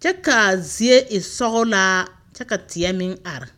kyɛ ka a zie e sɔglaa kyɛ ka teɛ meŋ are.